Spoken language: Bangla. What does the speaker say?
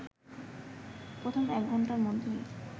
প্রথম এক ঘণ্টার মধ্যেই